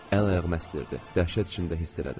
Əl-ayağımı əstirdi, dəhşət içində hiss elədim.